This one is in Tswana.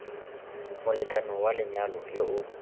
molekane wa lenyalo yo o